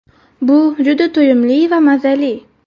Bu juda to‘yimli va mazali.